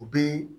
U bi